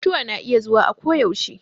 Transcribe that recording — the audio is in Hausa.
Mutuwa na iya zuwa a ko yaushe